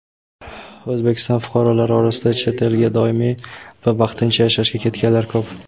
O‘zbekiston fuqarolari orasida chet elga doimiy va vaqtincha yashashga ketganlar ko‘p.